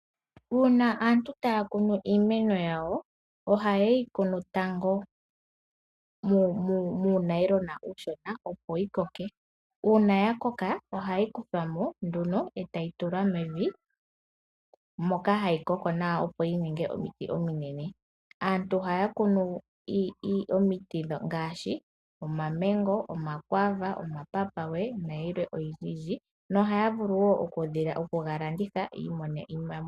Uuna aantu taa kunu iimeno yawo, ohaye yi kunu tango muunailona uushona opo yi koke. Uuna yakoka, ohai kuthwa mo nduno e tayi tulwa mevi moka hai koko nawa opo yi ninge omiti ominene. Aantu ohaa kunu omiti ngaashi omamengo, omakwaava, omapapawe na yilwe oyindji nohaa vulu okuyi landitha yi imonene iimaliwa.